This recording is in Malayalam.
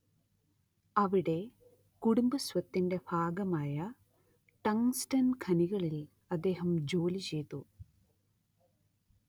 അവിടെ കുടുംബസ്വത്തിന്റെ ഭാഗമായ ടങ്ങ്സ്ടൻ ഖനികളിൽ അദ്ദേഹം ജോലിചെയ്തു